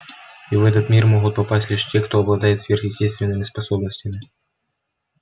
и в этот мир могут попасть лишь те кто обладает сверхъестественными способностями